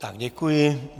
Tak děkuji.